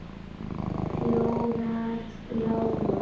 Fjórar lágu.